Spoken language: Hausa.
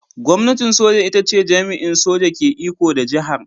Gwamnatin soja ita ce jami'in soja ke iko da jihar.